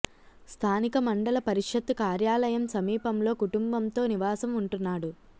స్థానిక మండల పరిషత్తు కార్యాలయం సమీపంలో కుటుంబంతో నివాసం ఉంటున్నాడు